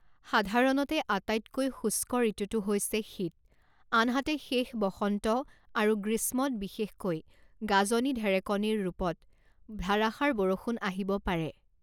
সাধাৰণতে আটাইতকৈ শুষ্ক ঋতুটো হৈছে শীত আনহাতে শেষ বসন্ত আৰু গ্ৰীষ্মত বিশেষকৈ গাজনি ঢেৰেকনিৰ ৰূপত ধাৰাসাৰ বৰষুণ আহিব পাৰে।